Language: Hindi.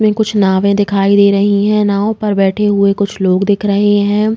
कुछ नावे दिखाई दे रही हैं। नाव पर बैठे हुए कुछ लोग दिख रहे हैं।